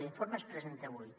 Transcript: l’informe es presenta avui